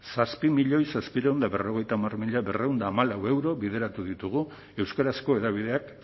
zazpi milioi zazpiehun eta berrogeita hamar mila berrehun eta hamalau euro bideratu ditugu euskarazko hedabideak